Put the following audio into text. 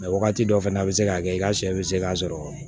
wagati dɔ fɛnɛ a bi se ka kɛ i ka sɛ be se ka sɔrɔ